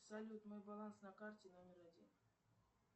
салют мой баланс на карте номер один